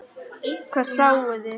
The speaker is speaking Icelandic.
Hvað sáuði?